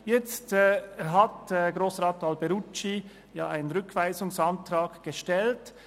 Nun hat Grossrat Alberucci einen Rückweisungsantrag gestellt.